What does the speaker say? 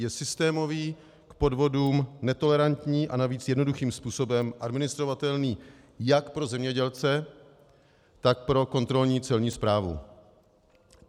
Je systémový, k podvodům netolerantní a navíc jednoduchým způsobem administrovatelný jak pro zemědělce, tak pro kontrolní celní správu.